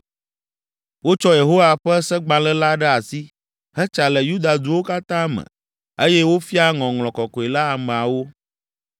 Wotsɔ Yehowa ƒe Segbalẽ la ɖe asi, hetsa le Yuda duwo katã me eye wofia Ŋɔŋlɔ Kɔkɔe la ameawo.